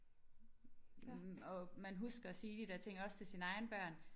Hm og man husker at sige de der ting også til sine egne børn